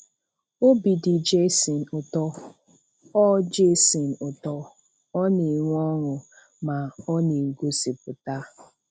Obi dị Jason ụtọ, Ọ Jason ụtọ, Ọ na-enwe ọṅụ, ma ọ na-egosipụta.